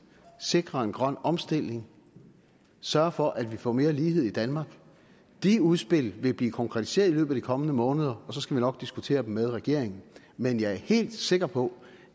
sikre en grøn omstilling sørge for at vi får mere lighed i danmark de udspil vil blive konkretiseret i løbet af de kommende måneder og så skal vi nok diskutere dem med regeringen men jeg er helt sikker på